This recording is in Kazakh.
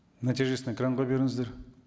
нәтижесін экранға беріңіздер